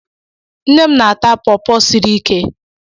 Nne m na-ata pọọpọ siri ike.